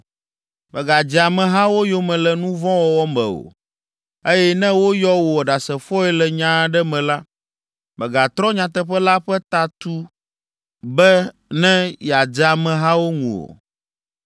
“Mègadze amehawo yome le nu vɔ̃ wɔwɔ me o, eye ne woyɔ wò ɖasefoe le nya aɖe me la, mègatrɔ nyateƒe la ƒe ta tu be ne yeadze amehawo ŋu o,